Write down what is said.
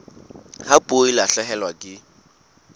ha puo e lahlehelwa ke